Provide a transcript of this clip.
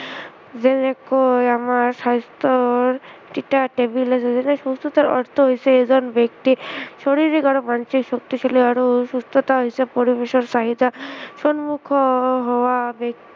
যেনেকৈ আমাৰ স্ৱাস্থ্য়ৰ যেনে সুস্থতাৰ অৰ্থ হৈছে এজন ব্য়ক্তিৰ শাৰিৰীক আৰু মানসিক শক্তিশালী আৰু সুস্থতা হৈছে পৰিবেশৰ চাহিদা সন্মুখীন হোৱা ব্য়ক্তি